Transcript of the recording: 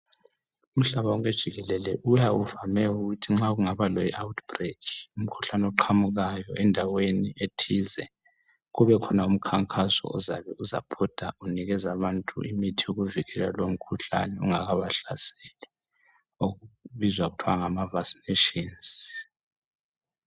Umhlaba wonke jikelele uyawuvame ukuthi nxa kungaba le outbreak umkhuhlane oqhamukayo endaweni ethize kubekhona umkhankaso ozabe uzabhoda unikeza abantu imithi yokuvikela lomkhuhlane ungakabahlaseli okubizwa kuthwa ngama vaccinations.